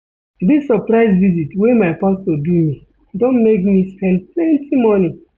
Dis surprise visit wey my pastor do me don make me spend plenty moni.